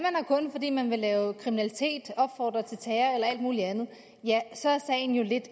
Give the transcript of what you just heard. kun fordi man vil lave kriminalitet opfordre til terror og alt muligt andet ja så er sagen jo en lidt